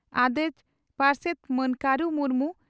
ᱟᱹᱚᱹᱡᱹ ᱯᱟᱨᱥᱮᱛ ᱢᱟᱱ ᱠᱟᱨᱩ ᱢᱩᱨᱢᱩ